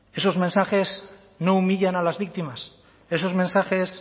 esos mensajes no humillan a las víctimas esos mensajes